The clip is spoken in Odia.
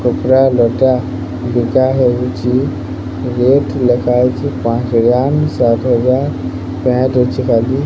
କପଡ଼ା ଲୁଗା ହଉଚି ରେଟ୍ ଲେଖା ହେଇଛି ପାଞ୍ଚ ହଜାର ସାତ ହଜାର ପ୍ୟାଣ୍ଟ୍ ଅଛେ ଖାଲି।